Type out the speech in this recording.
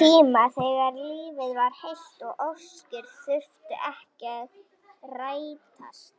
tíma þegar lífið var heilt og óskir þurftu ekki að rætast.